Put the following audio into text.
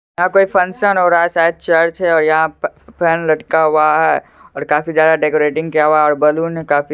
function हो रहा है शायद चर्च है और यहाँ पर फैन लटका हुआ है और काफी ज्यादा डेकोरेटिंग किया हुआ है और बैलून काफी ज्यादा--